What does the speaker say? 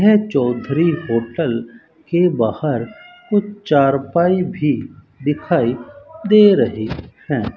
यह चौधरी होटल के बाहर कुछ चारपाई भी दिखाई दे रही हैं।